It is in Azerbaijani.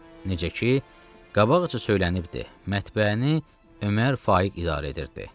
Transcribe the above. Necə ki, qabaqca söylənibdir, mətbəəni Ömər Faiq idarə edirdi.